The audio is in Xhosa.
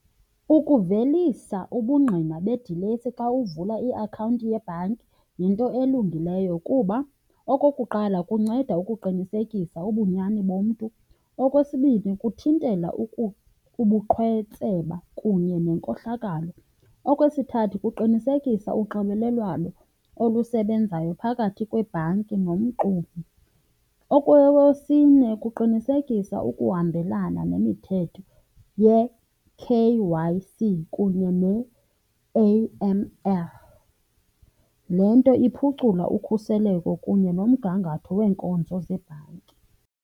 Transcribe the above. Ukuvelisa ubungqina bedilesi xa uvula iakhawunti yebhanki yinto elungileyo kuba okokuqala kunceda ukuqinisekisa ubunyani bomntu. Okwesibini, kuthintela ubuqhetseba kunye nenkohlakalo. Okwesithathu, kuqinisekisa unxibelelwano olusebenzayo phakathi kwebhanki nomxumi. Okwesine, kuqinisekisa ukuhambelana nemithetho ye-K_Y_C kunye ne-A_M_L. Le nto iphucula ukhuseleko kunye nomgangatho weenkonzo zebhanki.